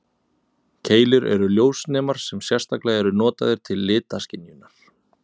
Keilur eru þeir ljósnemar sem sérstaklega eru notaðir til litaskynjunar.